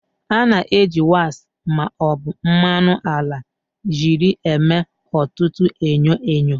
A na-eji waks ma ọ bụ mmanụ ala jelii eme ọtụtụ enyo enyo.